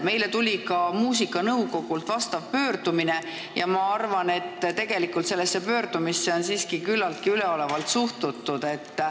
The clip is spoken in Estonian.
Meile tuli ka muusikanõukogult pöördumine ja ma arvan, et tegelikult on sellesse pöördumisse suhtutud siiski küllaltki üleolevalt.